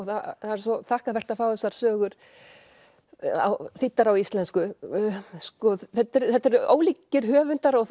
það er svo þakkarvert að fá þessar sögur þýddar á íslensku þetta eru ólíkir höfundar og